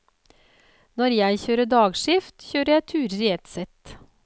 Når jeg kjører dagskift, kjører jeg turer i ett sett.